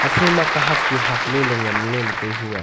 ephai kahak chu hak ley ngaley le tai hu a.